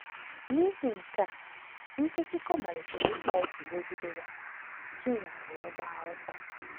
N’ihi nke a, Nkèchíchòr “malitere ịkpa òkè megide ya,” Chinyere wee gbaa ọsọ.